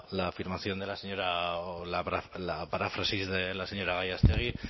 la afirmación de la señora o la paráfrasis de la señora gallástegui